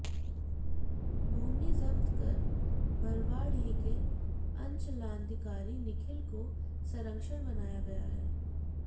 भूमि जब्त कर बरवाडीह के अंचलाधिकारी निखिल को संरक्षक बनाया गया है